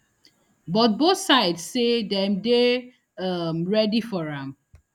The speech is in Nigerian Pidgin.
but both sides say dem dey um ready for am